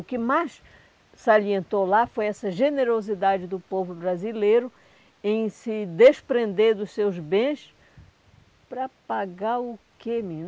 O que mais salientou lá foi essa generosidade do povo brasileiro em se desprender dos seus bens para pagar o quê,